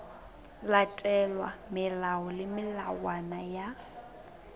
latelwa melao le melawana ya